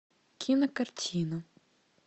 кинокартина